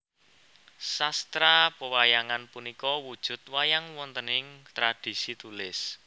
Sastra pewayangan punika wujud wayang wontening tradisi tulis